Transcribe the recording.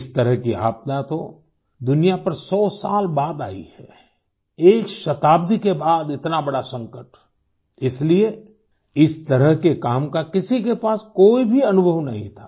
इस तरह की आपदा तो दुनिया पर सौ साल बाद आई है एक शताब्दी के बाद इतना बड़ा संकट इसलिए इस तरह के काम का किसी के पास कोई भी अनुभव नहीं था